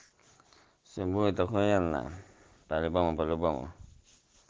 все будет охуенно по любому по любому